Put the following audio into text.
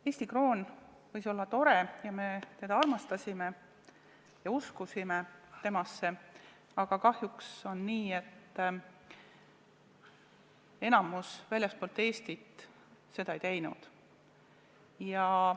Eesti kroon võis olla tore, me teda armastasime ja uskusime temasse, aga kahjuks on nii, et enamik väljaspool Eestit seda ei teinud.